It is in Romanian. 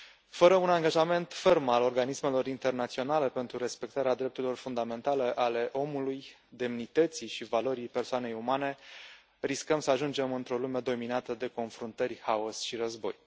Fără un angajament ferm al organismelor internaționale pentru respectarea drepturilor fundamentale ale omului, demnității și valorii persoanei umane, riscăm să ajungem într o lume dominată de confruntări, haos și război.